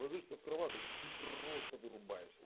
ложишься в кроваточку и просто вырубаешься